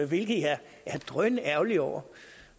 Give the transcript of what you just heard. hvilket jeg er drønærgerlig over